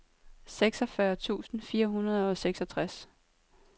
seksogfyrre tusind fire hundrede og seksogtres